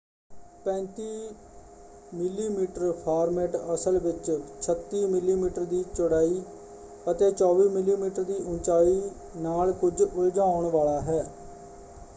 35 ਮਿਮੀ ਫਾਰਮੈੱਟ ਅਸਲ ਵਿੱਚ 36 ਮਿਮੀ ਦੀ ਚੌੜਾਈ ਅਤੇ 24 ਮਿਮੀ ਦੀ ਉਚਾਈ ਨਾਲ ਕੁੱਝ ਉਲਝਾਉਣ ਵਾਲਾ ਹੈ।